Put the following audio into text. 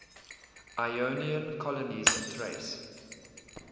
ionian colonies in thrace